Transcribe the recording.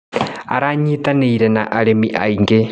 Aranyitanĩire na arĩmi aingĩ.